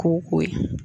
Ko ko ye